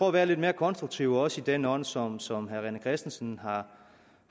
at være lidt mere konstruktiv også i den ånd som som herre rené christensen